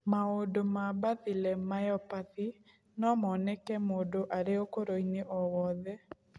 Maũndũ ma Bethilem myopathy no moneke mũndũ arĩ ũkũrũ-inĩ o wothe